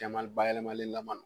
bayɛlɛmalilama don